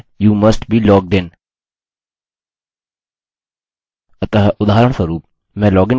अतः उदाहरणस्वरूप मैं लॉगिन करने जा रहा हूँ लेकिन मैं इसके लिए यहाँ क्लिक नहीं करूँगा